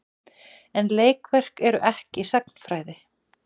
En leikverk eru ekki sagnfræði.